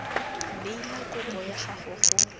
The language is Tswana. neela kopo ya gago go